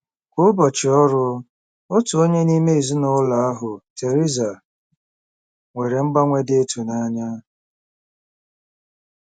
Kwa ụbọchị ọrụ, otu onye n'ime ezinụlọ ahụ, Teresa, nwere mgbanwe dị ịtụnanya.